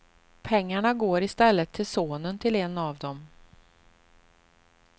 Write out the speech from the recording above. Pengarna går i stället till sonen till en av de.